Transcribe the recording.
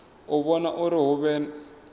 u vhona uri hu vhe